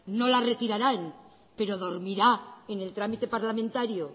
no la retirarán pero dormirá en el trámite parlamentario